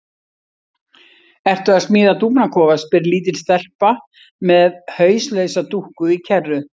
Ertu að smíða dúfnakofa? spyr lítil stelpa með hauslausa dúkku í kerru.